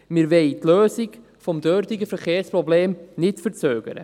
Wir wollen die Lösung des dortigen Verkehrsproblems nicht verzögern.